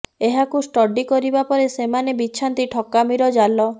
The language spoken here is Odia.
ଏହାକୁ ଷ୍ଟଡି କରିବା ପରେ ସେମାନେ ବିଛାନ୍ତି ଠକାମିର ଜାଲ